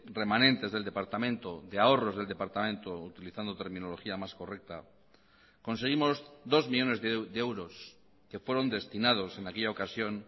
remanentes del departamento de ahorros del departamento utilizando terminología más correcta conseguimos dos millónes de euros que fueron destinados en aquella ocasión